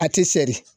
A tɛ seri